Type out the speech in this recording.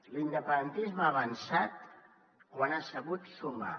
l’independentisme ha avançat quan ha sabut sumar